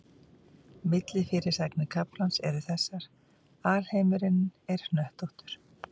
Millifyrirsagnir kaflans eru þessar: Alheimurinn er hnöttóttur.